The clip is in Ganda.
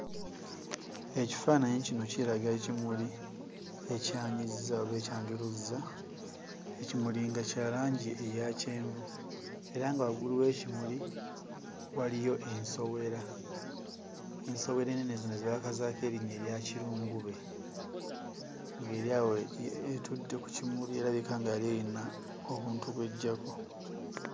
Ekifaananyi kino kiraga ekimuli ekyanyizza oba ekyanjuluzza. Ekimuli nga kya langi eya kyenvu era nga waggulu w'ekimuli waliyo ensowera ensowera ennene zino ze baakazaako erinnya erya kirungube ng'eri awo eh etudde ku kimuli erabika nga yali eyina obuntu bw'eggyako.